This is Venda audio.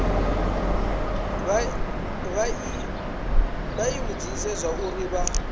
vha i vhudze zwauri vha